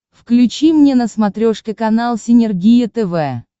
включи мне на смотрешке канал синергия тв